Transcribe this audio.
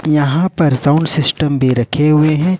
यहां पर sound system भी रखे हुए हैं।